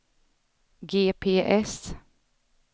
GPS